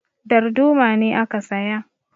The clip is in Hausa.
Darduma ne aka saya